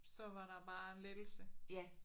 Så var der bare lettelse